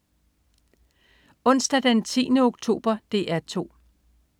Onsdag den 10. oktober - DR 2: